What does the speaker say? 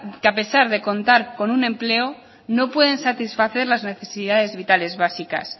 que a pesar de contar con un empleo no pueden satisfacer las necesidades vitales básicas